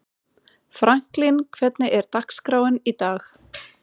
Franklín, hvernig er dagskráin í dag?